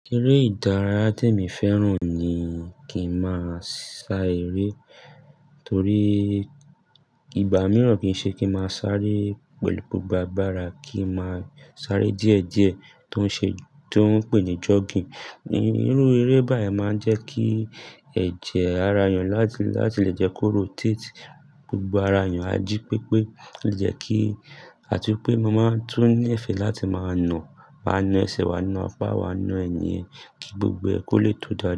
Eré ìdárayá te mi fẹ́ràn ni kí n máa sá eré torí ìgbà mìíràn kìí ṣe kí n máa sáré pẹ̀lú gbogbo agbára, kí n máa sáré díẹ̀ díẹ̀ tó ń ṣe, tó ń pè ní jogging. Irú eré báyìí máa ń jẹ́ kí ẹ̀jẹ̀ ara èèyàn láti, láti lè jẹ́ kó rotate gbogbo ara èèyàn, a jí pé pé ó lè jẹ́ kí, àti pé mo máa tún ní ìfẹ́ láti máa na, wa na ẹsẹ̀, wa na apá, wa na ẹ̀yìn e kí gbogbo ẹ ko lè tó dáa.